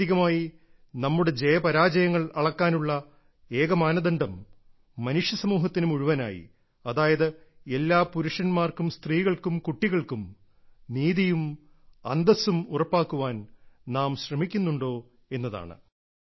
ആത്യന്തികമായി നമ്മുടെ ജയപരാജയങ്ങൾ അളക്കാനുള്ള ഏക മാനദണ്ഡം മനുഷ്യ സമൂഹത്തിന് മുഴുവനായി അതായത് എല്ലാ പുരുഷന്മാർക്കും സ്ത്രീകൾക്കും കുട്ടികൾക്കും നീതിയും അന്തസ്സും ഉറപ്പാക്കാൻ നാം ശ്രമിക്കുന്നുണ്ടോ എന്നതാണ്